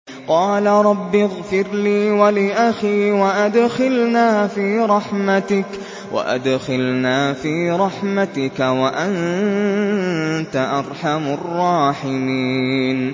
قَالَ رَبِّ اغْفِرْ لِي وَلِأَخِي وَأَدْخِلْنَا فِي رَحْمَتِكَ ۖ وَأَنتَ أَرْحَمُ الرَّاحِمِينَ